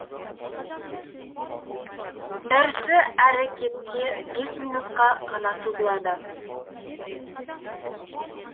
дәрісі әрі кетсе бес минутқа ғана созылады